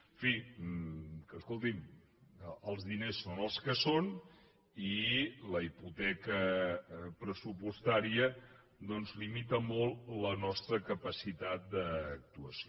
en fi que escolti’m els diners són els que són i la hipoteca pressupostària doncs limita molt la nostra capacitat d’actuació